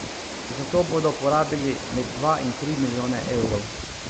Za to bodo porabili med dva in tri milijone evrov.